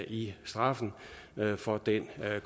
i straffen for den